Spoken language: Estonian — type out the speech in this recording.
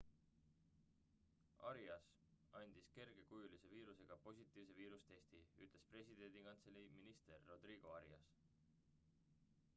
arias andis kergekujulise viirusega positiivse viirusetesti ütles presidendikantselei minister rodrigo arias